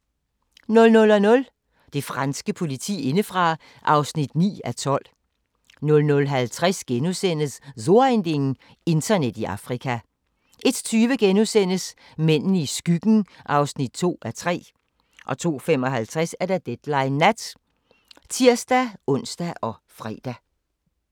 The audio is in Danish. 00:00: Det franske politi indefra (9:12) 00:50: So ein Ding: Internet i Afrika * 01:20: Mændene i skyggen (2:3)* 02:55: Deadline Nat (tir-ons og fre)